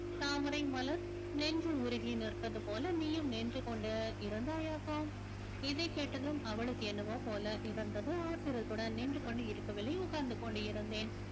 தாமரை மலர் நின்று உருகி நிற்பது போல நீயும் நின்று கொண்டு இருந்தாயாக்கும் இதைக் கேட்டதும் அவளுக்கு என்னவோ போல இருந்தது ஆத்திரத்துடன் நின்று கொண்டு இருக்கவில்லை உட்கார்ந்து கொண்டு இருந்தேன்